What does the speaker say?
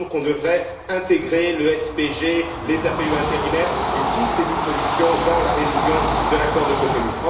Il nous semble qu'on devrait intégrer le SPG, les APE intérimaires et toutes ces dispositions dans la révision de l'accord de Cotonou.